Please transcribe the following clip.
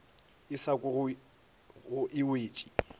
e sa kwego e wetše